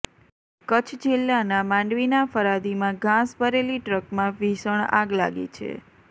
કચ્છ જિલ્લાના માંડવીના ફરાદીમાં ઘાસ ભરેલી ટ્રકમાં ભીષણ આગ લાગી છે